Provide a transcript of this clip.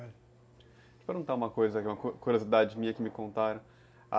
Deixa eu perguntar uma coisa, que é uma curiosidade minha que me contaram.